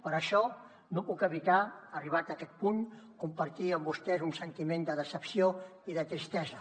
per això no puc evitar arribats a aquest punt compartir amb vostès un sentiment de decepció i de tristesa